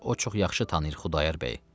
Çünki o çox yaxşı tanıyır Xudayar bəyi.